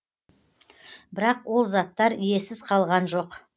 бірақ ол заттар иесіз қалған жоқ